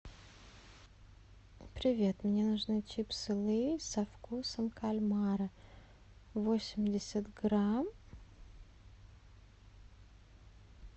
привет мне нужны чипсы лейс со вкусом кальмара восемьдесят грамм